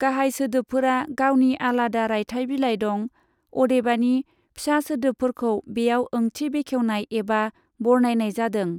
गाहाय सोदोबफोरा गावनि आलादा रायथाइ बिलाइ दं, अदेबानि फिसा सोदोबफोरखौ बेयाव ओंथि बेखेवनाय एबा बरनायनाय जादों।